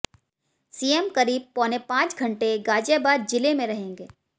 CM करीब पौने पांच घंटे गाजियाबाद जिले में रहेंगे